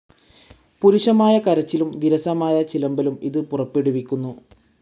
പരുഷമായ കരച്ചിലും, വിരസമായ ചിലമ്പലും ഇത് പുറപ്പെടുവിക്കുന്നു.